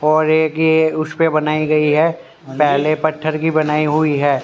और एक ये उसपे बनाई गई है पेहले पत्थर की बनाई हुई है।